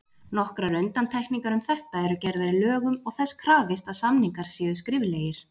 Nokkrar undantekningar um þetta eru gerðar í lögum og þess krafist að samningar séu skriflegir.